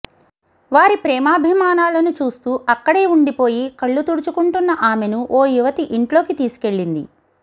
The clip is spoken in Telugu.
వారి ప్రేమాభిమానాలను చూస్తూ అక్కడే ఉండిపోయి కళ్లు తుడుచుకుంటున్న ఆమెను ఓ యువతి ఇంట్లోకి తీసుకెళ్లింది